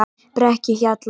Brekkuhjalla